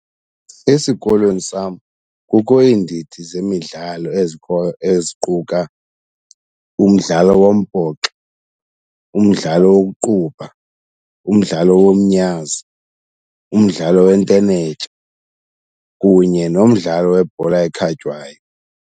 Esikolweni sam kukho iindidi zemidlalo ezikhoyo eziquka umdlalo wombhoxo, umdlalo wokuqubha, umdlalo womnyazi, umdlalo wentenetya kunye nomdlalo webhola ekhatywayo.